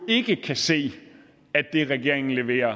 ikke kan se at det regeringen leverer